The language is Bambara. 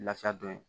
Lafiya don